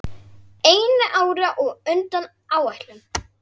Einu ári á undan áætlun.